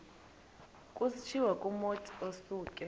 kutshiwo kumotu osuke